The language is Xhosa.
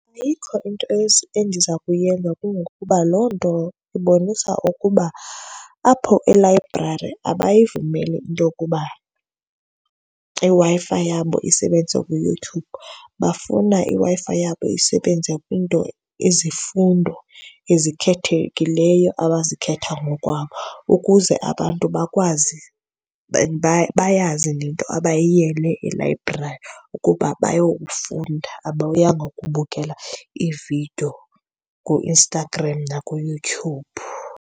Ayikho into endiza kuyenza kungokuba loo nto ibonisa ukuba apho elayibrari abayivumeli into yokuba iWi-Fi yabo isebenze kuYouTube. Bafuna iWi-Fi yabo isebenze kwinto, izifundo ezikhethekileyo abazikhetha ngokwabo ukuze abantu bakwazi and bayazi nento abayiyele elayibrari ukuba bayofunda, abayanga kubukela iividiyo kuInstagram nakuYouTube.